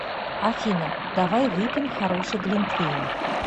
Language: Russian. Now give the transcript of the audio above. афина давай выпьем хороший глинтвейн